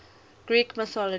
greek mythology